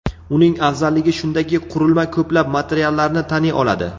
Uning afzalligi shundaki, qurilma ko‘plab materiallarni taniy oladi.